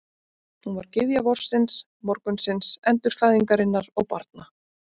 Hún var gyðja vorsins, morgunsins, endurfæðingarinnar og barna.